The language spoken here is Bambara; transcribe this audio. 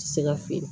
Ti se ka feere